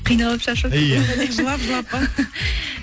қиналып шаршап иә жылап жылап па